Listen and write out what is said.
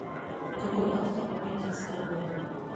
какой автор у пекинская опера